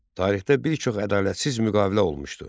Tarixdə bir çox ədalətsiz müqavilə olmuşdu.